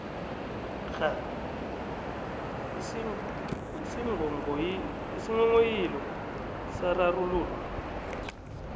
kghani isinghonghoyilo sararululwa